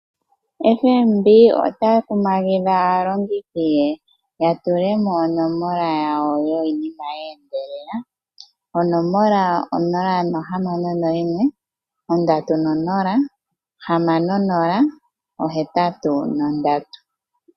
FNB otaya kumagidha aalongithi ye ya tulemo onomola yawo yiinima ye endelela. Onomola o061306083.